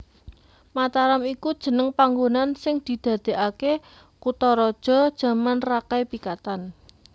Mataram iku jeneng panggonan sing didadèkaké kutharaja jaman Rakai Pikatan